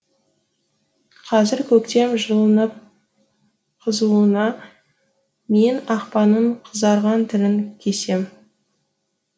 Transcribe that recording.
қызыр көктем жылынып қызуыңа мен ақпанның қызарған тілін кесем